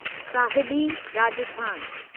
Sahibi Rajasthan